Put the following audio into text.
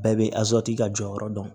Bɛɛ bɛ ka jɔyɔrɔ dɔn